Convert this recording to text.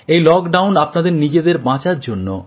এই লকডাউন আপনাদের নিজেদের বাঁচার জন্যে